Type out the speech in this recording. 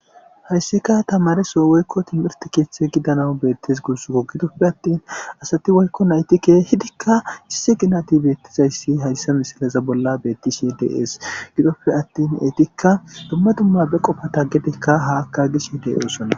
Hayssika tamareso woykko timirti keeththe gidanau beettes gurs gogidoppe attin asati woykko naytike hidikka issi ginati beettizayssi hayssa misilaza bolla bettishe dees gidoppe attin eetikka dumma dumma be qofata gedikka haakka gishe de osonna.